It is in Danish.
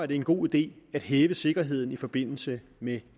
det en god idé at hæve sikkerheden i forbindelse med